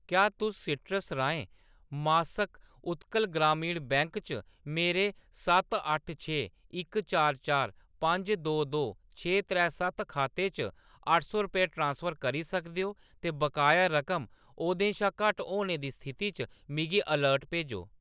क्या तुस सीट्रस राहें मासक उत्कल ग्रामीण बैंक च मेरे सत्त अट्ठ छे इक चार चार पंज दो दो छे त्रै सत्त खाते च अट्ठ सौ रपेऽ ट्रांसफर करी सकदे ओ ते बकाया रकम ओह्दे शा घट्ट होने दी स्थिति च मिगी अलर्ट भेजो?